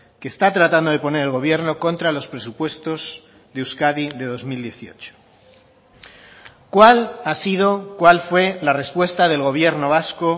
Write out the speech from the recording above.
que está tratando de poner el gobierno contra los presupuestos de euskadi de dos mil dieciocho cuál ha sido cuál fue la respuesta del gobierno vasco